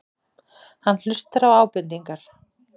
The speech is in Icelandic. Hann hlustar á ábendingar.